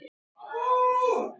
Hann notar þú til að saxa og skera.